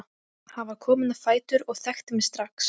Hann var kominn á fætur og þekkti mig strax.